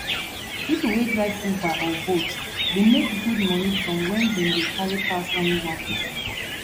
people wey drive uber or bolt dey make good money from when dem dey carry pass only one person